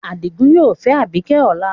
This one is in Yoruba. Adigun yoo fẹ Abike ọla